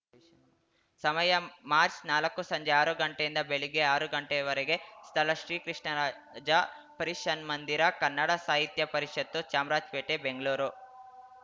ಸಮಯ ಮಾರ್ಚ್ ನಾಲ್ಕು ಸಂಜೆ ಆರು ಗಂಟೆಯಿಂದ ಬೆಳಿಗ್ಗೆ ಆರು ಗಂಟೆವರೆಗೆ ಸ್ಥಳ ಶ್ರೀ ಕೃಷ್ಣರಾಜ ಪರಿಷನ್ಮಂದಿರ ಕನ್ನಡ ಸಾಹಿತ್ಯ ಪರಿಷತ್ತು ಚಾಮರಾಜ್ ಪೇಟೆ ಬೆಂಗಳೂರು